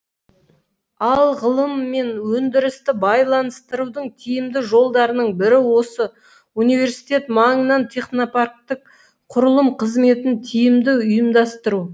ал ғылым мен өндірісті байланыстырудың тиімді жолдарының бірі осы университет маңынан технопарктік құрылым қызметін тиімді ұйымдастыру